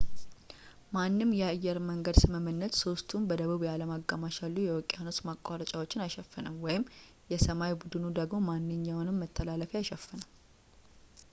ማንም የአየርመንገድ ስምምነት ሦስቱንም በደቡብ የዓለም አጋማሽ ያሉ የውቅያኖስ ማቋረጫዎችን አይሸፍንም የሰማይ ቡድኑ ደግሞ ማንኛውንም መተላለፊያ አይሸፍንም